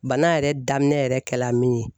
Bana yɛrɛ daminɛ yɛrɛ kɛla min ye